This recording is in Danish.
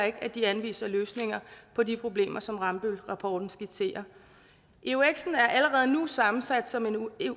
ikke at de anviser løsninger på de problemer som rambøllrapporten skitserer euxen er allerede nu sammensat som en unik